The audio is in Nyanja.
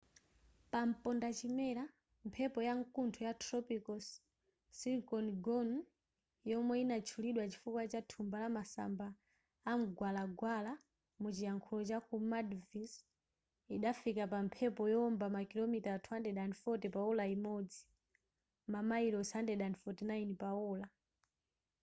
pampondachimera mphepo ya nkuntho ya tropical cyclone gonu yomwe inatchulidwa chifukwa cha thumba la masamba amgwalagwala muchilankhulo chaku maldives idafika pa mphepo yowomba makilomita 240 pa ola limodzi mamayilosi 149 pa ola